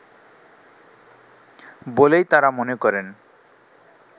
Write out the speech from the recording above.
বলেই তারা মনে করেন